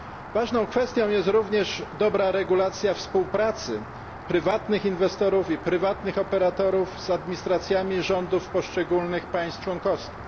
Ważną kwestią jest również dobra regulacja współpracy prywatnych inwestorów i prywatnych operatorów z administracjami rządów poszczególnych państw członkowskich.